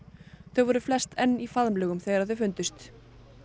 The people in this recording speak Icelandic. þau voru flest enn í faðmlögum þegar þau fundust